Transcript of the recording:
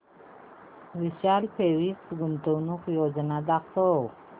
विशाल fabrics गुंतवणूक योजना दाखव